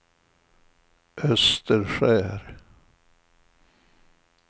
Österskär